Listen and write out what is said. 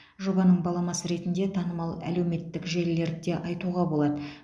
жобаның баламасы ретінде танымал әлеуметтік желілерді де айтуға болады